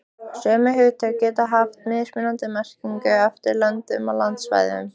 Sömu hugtök geta haft mismunandi merkingu eftir löndum og landsvæðum.